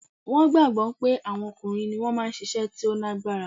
Wọn gbagbọ pé àwọn ọkùnrin ni wọ́n máa ń ṣiṣẹ́ tó lágbára